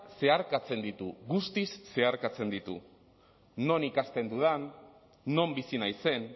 zeharkatzen ditu guztiz zeharkatzen ditu non ikasten dudan non bizi naizen